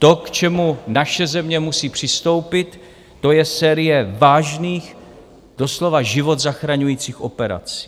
To, k čemu naše země musí přistoupit, to je série vážných, doslova život zachraňujících operací.